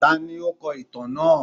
Tani o kọ itan naa?